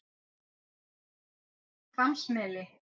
Hvammsmeli